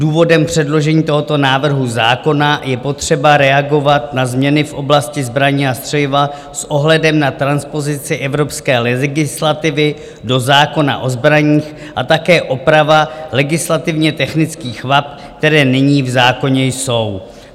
Důvodem předložení tohoto návrhu zákona je potřeba reagovat na změny v oblasti zbraní a střeliva s ohledem na transpozici evropské legislativy do zákona o zbraních a také oprava legislativně technických vad, které nyní v zákoně jsou.